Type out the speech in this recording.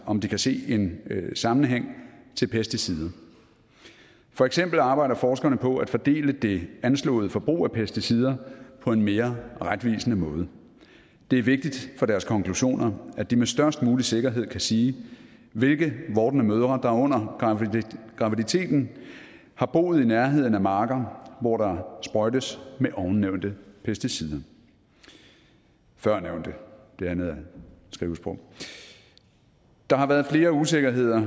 om de kan se en sammenhæng til pesticider for eksempel arbejder forskerne på at fordele det anslåede forbrug af pesticider på en mere retvisende måde det er vigtigt for deres konklusioner at de med størst mulig sikkerhed kan sige hvilke vordende mødre der under graviditeten har boet i nærheden af marker hvor der sprøjtes med ovennævnte pesticider førnævnte det andet er skrivesprog der har været flere usikkerheder